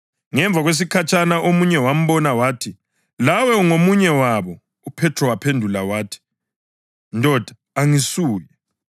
Ngemva kwesikhatshana omunye wambona wathi, “Lawe ungomunye wabo.” UPhethro waphendula wathi, “Ndoda, angisuye.”